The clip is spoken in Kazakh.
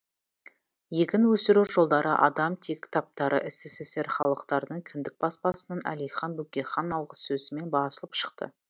егін өсіру жолдары адам тегі кітаптары ссср халықтарының кіндік баспасынан әлихан бөкейхан алғысөзімен басылып шықты